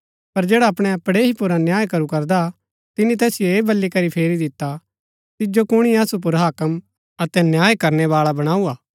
पर जैडा अपणै पड़ेही पुर अन्याय करू करदा तिनी तैसिओ ऐह बली करी फेरी दिता तिजो कुणी असु पुर हाक्म अतै न्याय करनै बाळा बणाऊँ हा